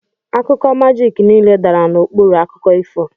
Akụkọ majiki niile dara n'okpuru akụkọ ifo.